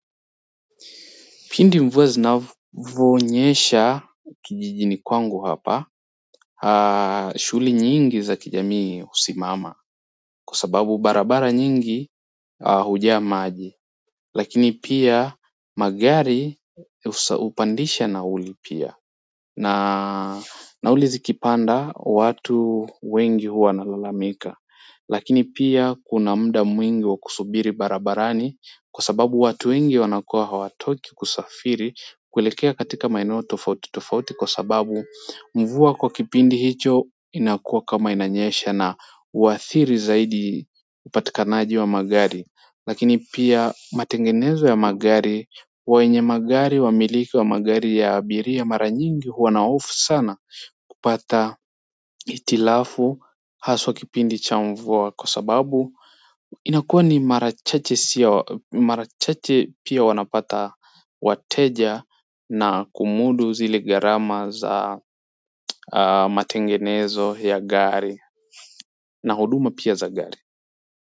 Pindi mvua zinavonyesha kijijini kwangu hapa, shule nyingi za kijamii husimama, kwa sababu barabara nyingi hujaa maji. Lakini pia magari hupandisha nauli pia. Nauli zikipanda watu wengi huwa wanalalamika. Lakini pia kuna muda mwingi wa kusubiri barabarani kwa sababu watu wengi wanakua hawatoki kusafiri kuelekea katika maineo tofauti tofauti kwa sababu mvua kwa kipindi hicho inakuwa kama inanyesha na hadhiri zaidi upatikanaji wa magari lakini pia matengenezo ya magari, wenye magari wamiliki wa magari ya abiria mara nyingi huwa na hofu sana kupata hitilafu haswa kipindi cha mvua kwa sababu inakuwa ni mara chache pia wanapata wateja na kumudu zile gharama za matengenezo ya gari na huduma pia za gari.